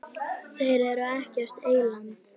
Þeir eru ekkert eyland.